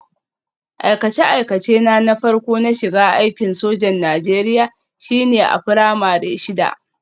Aikace-aikacena na farko na shiga aikin sojan Najeriya shine a firamare shida